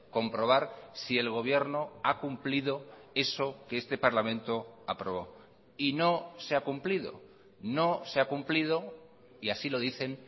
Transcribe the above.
comprobar si el gobierno ha cumplido eso que este parlamento aprobó y no se ha cumplido no se ha cumplido y así lo dicen